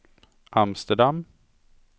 Amsterdam